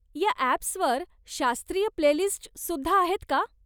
या अॅप्सवर शास्त्रीय प्लेलिस्टस् सुद्धा आहेत का?